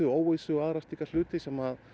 óvissu og aðra hluti sem